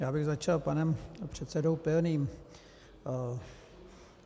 Já bych začal panem předsedou Pilným.